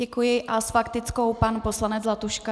Děkuji a s faktickou pan poslanec Zlatuška.